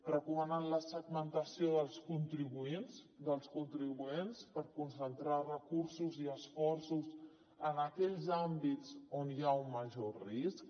recomanen la segmentació dels contribuents per concentrar recursos i esforços en aquells àmbits on hi ha un major risc